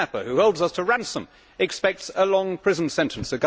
A kidnapper who holds us to ransom expects a long prison sentence